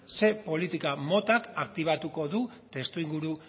zer politika motak aktibatuko du testuinguru